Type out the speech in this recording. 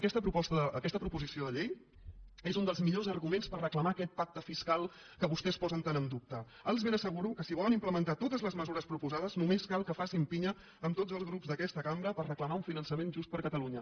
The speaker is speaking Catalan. aquesta proposició de llei és un dels millors arguments per reclamar aquest pacte fiscal que vostès posen tan en dubte els ben asseguro que si volen implementar totes les mesures proposades només cal que facin pi·nya amb tots els grups d’aquesta cambra per reclamar un finançament just per a catalunya